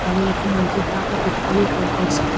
తలలకు monkey cap లు పెట్టుకుని ఇక్కడ ఒక వరుసగా--